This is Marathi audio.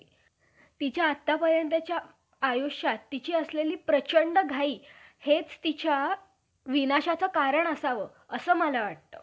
कारण या देशात येऊन अनेक स्वाऱ्या केल्या. व येथील बहुतेक राज्यांच्या मुला~ मुलाखात वारंवार हल्ले करून मोठा धिंगाणा केला.